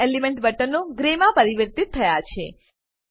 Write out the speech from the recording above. તમામ એલીમેંટ બટનો ગ્રે માં પરિવર્તિત થાય છે